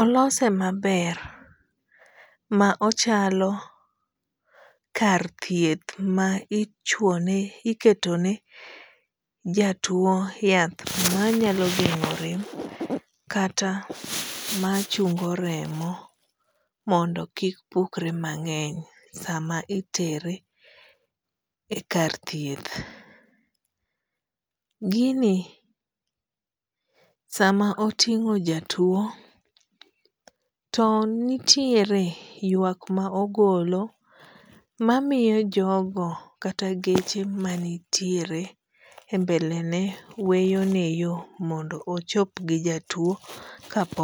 olose maber ma ochalo kar thieth ma ichuone iketone ja tuo yath manyalo geng'o rem kata machungo remo mondo kik pukre mang'eny sama itere e kar thieth. Gini sama oting'o jatuo to nitiere ywak ma ogolo mamiyo jogo kata geche manitiere e mbele ne weyone yoo mondo ochop gi jatuo kapok o